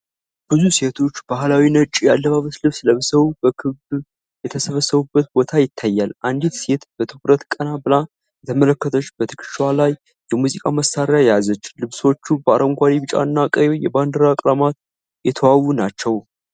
ብዙ ሴቶች ባህላዊ ነጭ የአለባበስ ልብስ ለብሰው በክብ የተሰባሰቡበት ቦታ ይታያል። አንዲት ሴት በትኩረት ቀና ብላ እየተመለከተች በትከሻዋ ላይ የሙዚቃ መሳሪያ ያዘች። ልብሶቹ በአረንጓዴ፣ ቢጫና ቀይ የባንዲራ ቀለማት የተዋቡ ናቸው።